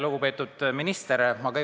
Lugupeetud minister!